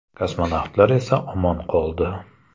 Kosmonavtlar esa omon qoldi.